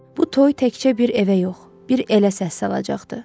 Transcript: Bu toy təkcə bir evə yox, bir elə səs salacaqdı.